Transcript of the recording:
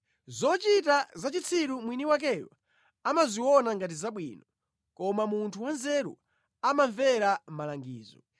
Zochita za chitsiru mwini wakeyo amaziona ngati zabwino, koma munthu wanzeru amamvera malangizo.